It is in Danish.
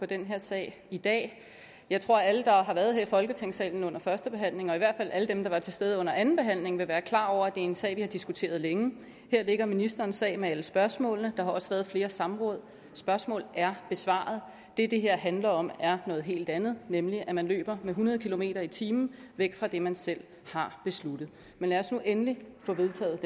den her sag i dag jeg tror at alle der har været her i folketingssalen under førstebehandlingen og i hvert fald alle dem der var til stede under andenbehandlingen vil være klar over er en sag vi har diskuteret længe her ligger ministerens sag med alle spørgsmålene og der har også været flere samråd spørgsmål er besvaret det det her handler om er noget helt andet nemlig at man løber med hundrede kilometer i timen væk fra det man selv har besluttet men lad os nu endelig får vedtaget